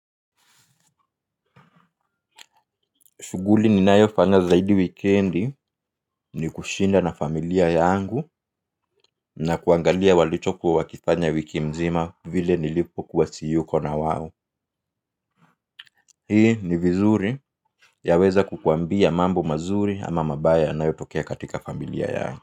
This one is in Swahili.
Shughuli ninayofanya zaidi wikiendi ni kushinda na familia yangu na kuangalia walichokuwa wakifanya wiki mzima vile nilipokuwa siko na wao. Hii ni vizuri yaweza kukwambia mambo mazuri ama mabaya yanayotokea katika familia yako.